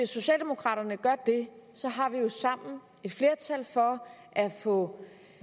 socialdemokraterne gør det har vi jo sammen et flertal for at få